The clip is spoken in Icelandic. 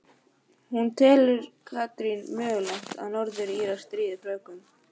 En telur Katrín mögulegt að Norður Írar stríði Frökkum?